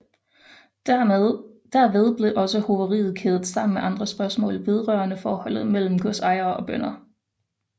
Derved blev også hoveriet kædet sammen med andre spørgsmål vedrørende forholdet mellem godsejere og bønder